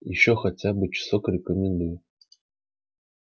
ещё хотя бы часок рекомендую